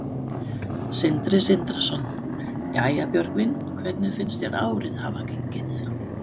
Sindri Sindrason: Jæja, Björgvin, hvernig finnst þér árið hafa gengið?